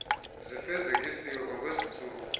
zifezekiswe kwangezi ntsuku